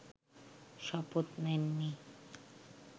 শপথ নেননি